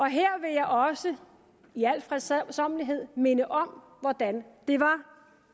her vil jeg også i al fredsommelighed minde om hvordan det var